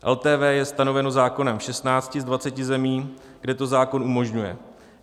LTV je stanoveno zákonem v 16 z 20 zemí, kde to zákon umožňuje.